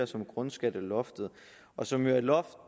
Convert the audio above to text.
som grundskatteloftet som jo er et loft